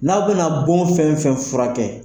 N'aw bɛna bon fɛn fɛn furakɛ